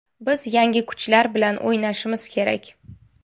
Biz yangi kuchlar bilan o‘ynashimiz kerak.